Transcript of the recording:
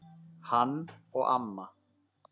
Hann og amma.